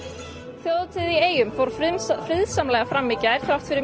þjóðhátíð í eyjum fór friðsamlega fram í gær þrátt fyrir